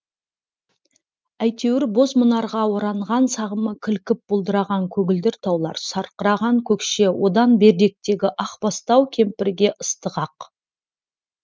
әйтеуір боз мұнарға оранған сағымы кілкіп бұлдыраған көгілдір таулар сарқыраған көкше одан беріректегі ақ бастау кемпірге ыстық ақ